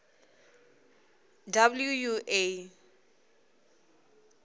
wua